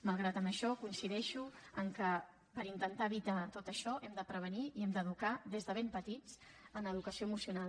malgrat això coincideixo que per intentar evitar tot això hem de prevenir i hem d’educar des de ben petits en educació emocional